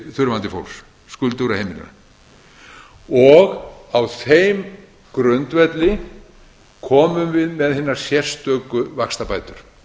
þurfandi fólks skuldugra heimila og á þeim grundvelli komum við með hinar sérstöku vaxtabætur